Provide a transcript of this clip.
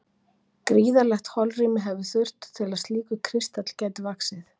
gríðarlegt holrými hefur þurft til að slíkur kristall gæti vaxið